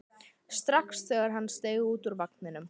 strax þegar hann steig út úr vagninum.